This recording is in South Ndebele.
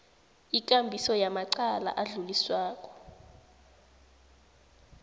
ikambiso yamacala adluliswako